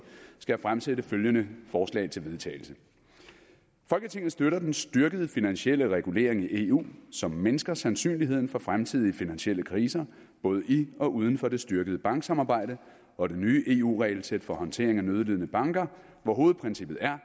skal jeg fremsætte følgende forslag til vedtagelse folketinget støtter den styrkede finansielle regulering i eu som mindsker sandsynligheden for fremtidige finansielle kriser både i og uden for det styrkede banksamarbejde og det nye eu regelsæt for håndtering af nødlidende banker hvor hovedprincippet er